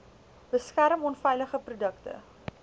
beskerm onveilige produkte